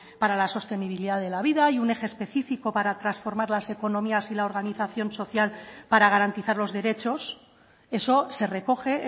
para la sostenibilidad de la vida y un eje específico para transformar las economías y la organización social para garantizar los derechos eso se recoge